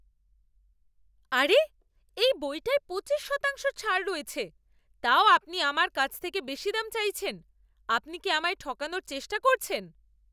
আরে! এই বইটায় পঁচিশ শতাংশ ছাড় রয়েছে, তাও আপনি আমার কাছ থেকে বেশি দাম চাইছেন। আপনি কি আমায় ঠকানোর চেষ্টা করছেন?